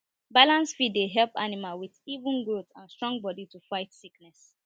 balanced feed dey help animal with even growth and strong body to fight sickness